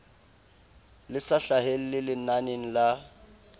le sa hlahelle lenaneng la